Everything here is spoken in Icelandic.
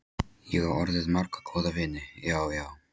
Ég á orðið marga góða vini, já, já.